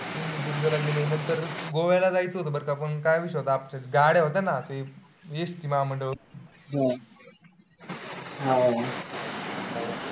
सिंधुदुर्ग ला गेलो नंतर गोव्याला जायचं होतं पण काय विषय होता? गाड्या होत्या ना एसटी महामंडळ होती.